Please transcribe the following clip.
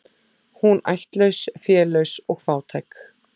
Hún ættlaus, félaus og fátæk.